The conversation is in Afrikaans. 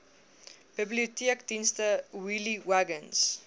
biblioteekdienste wheelie wagons